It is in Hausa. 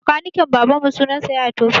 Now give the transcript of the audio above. Makaniken baban mu sunan sa yaya Toufik